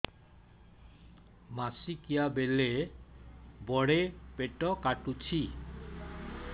ମାସିକିଆ ବେଳେ ବଡେ ପେଟ କାଟୁଚି